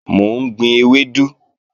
Mò ń gbin ewédú